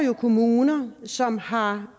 jo kommuner som har